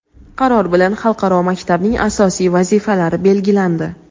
Qaror bilan xalqaro maktabning asosiy vazifalari belgilandi.